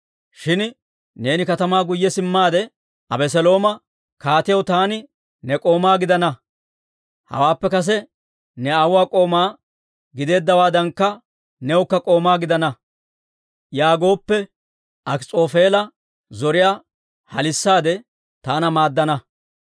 Shin neeni katamaa guyye simmaade Abeselooma, ‹Kaatiyaw, taani ne k'oomaa gidana; hawaappe kase ne aawuwaa k'oomaa gideeddawaadankka newukka k'oomaa gidana› yaagooppe, Akis'oofeela zoriyaa halissaade taana maaddana.